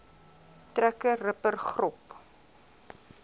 trekker ripper grop